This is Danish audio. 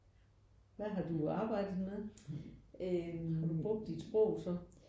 Hvad har du arbejdet med? Har du brugt dit sprog så?